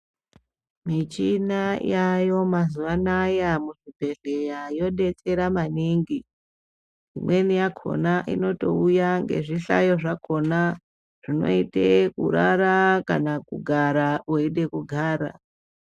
Michina yaayo mazuwa anaya muzvibhedhleya yodetsera maningi. Imweni yakhona inotouya ngezvihlayo zvakhona, zvinoite kurara kana kugara weide kugara.